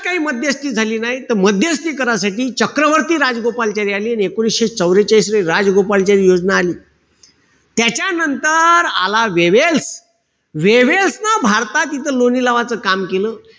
काई मध्यस्थी झाली नाई. त मध्यस्थी करासाठी चक्रवर्ती राजगोपालाचारी आले आणि एकोणीशे चवरेचाळीस ले, राजगोपालचारी योजना आली. त्याच्यानंतर आला, वेव्हेल, वेव्हल्स न इथं भारतात लोणी लावायचं काम केलं.